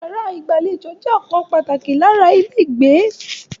Yàrá ìgbàlejò jẹ́ ọ̀kan pàtàkì lára ilé ìgbé.